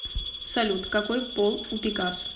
салют какой пол у пегас